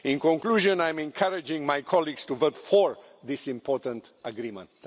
In conclusion, I encourage my colleagues to vote for this important agreement.